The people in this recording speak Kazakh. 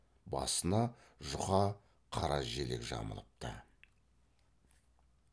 басына жұқа қара желек жамылыпты